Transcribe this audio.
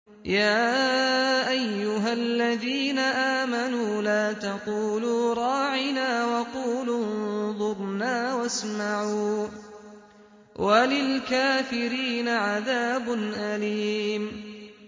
يَا أَيُّهَا الَّذِينَ آمَنُوا لَا تَقُولُوا رَاعِنَا وَقُولُوا انظُرْنَا وَاسْمَعُوا ۗ وَلِلْكَافِرِينَ عَذَابٌ أَلِيمٌ